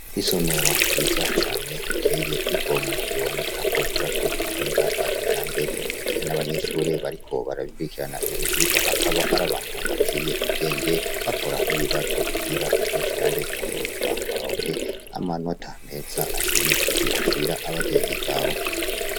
Isomero ryiza cane riteye igomwe biboneka ko ryubatswe mu buhinga bwa kijambere ndetse n' abanyeshure bariko barabikurikirana ivyo vyigwa akaba ari abantu baciye ubwenge bakora n' ibibazo kugira bazoshobore kwunguruzwa baronke amanota meza ashimishije bashira abavyeyi babo.